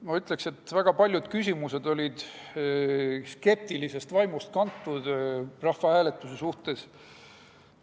Ma ütleksin, et väga paljud küsimused olid kantud skeptilisest vaimust rahvahääletuse suhtes.